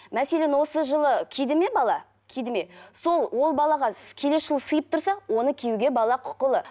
мәселен осы жылы киді ме бала киді ме сол ол балаға келесі жылы сиып тұрса оны киюге бала құқылы